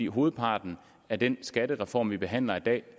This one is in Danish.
hovedparten af den skattereform vi behandler i dag